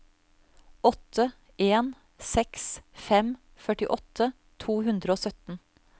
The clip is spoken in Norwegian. åtte en seks fem førtiåtte to hundre og sytten